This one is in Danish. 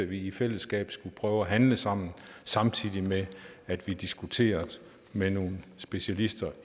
vi i fællesskab skulle prøve at handle sammen samtidig med at vi diskuterer det med nogle specialister